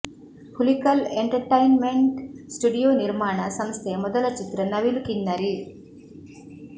Hulikal entertainment studio ನಿರ್ಮಾಣ ಸಂಸ್ಥೆಯ ಮೊದಲ ಚಿತ್ರ ನವಿಲು ಕಿನ್ನರಿ